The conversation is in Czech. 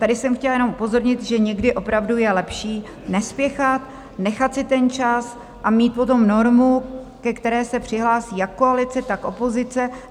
Tady jsem chtěla jenom upozornit, že někdy opravdu je lepší nespěchat, nechat si ten čas a mít potom normu, ke které se přihlásí jak koalice, tak opozice.